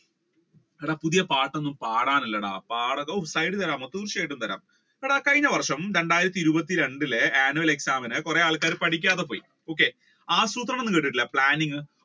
എടാ പുതിയ പാട്ട് ഒന്നും പാടാനില്ലടാ തീർച്ചയായും തരാം എടാ കഴിഞ്ഞ വർഷം രണ്ടായിരത്തി ഇരുപത്തി രണ്ടില്ലേ Annual Exam കുറെ ആൾക്കാർ പഠിക്കാതെപോയി ആസൂത്രണം എന്ന് കേട്ടിട്ടില്ലേ planning